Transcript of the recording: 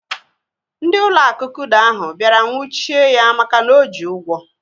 Ndị ụlọ akụ kuda ahụ bịara nwuchie ya maka na oji ụgwọ